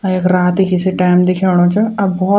अर यख रात कि सी टाइम दिखेणु च अब भोत --